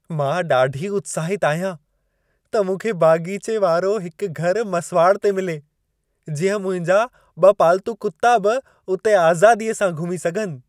मां ॾाढी उत्साहितु आहियां त मूंखे बाग़ीचे वारो हिकु घर मसुवाड़ ते मिले। जीअं मुंहिंजा ॿ पाल्तू कुत्ता बि उते आज़ादीअ सां घुमी सघनि।